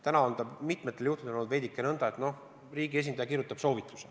Praegu on see mitmetel juhtudel olnud nõnda, et riigi esindaja kirjutab soovituse.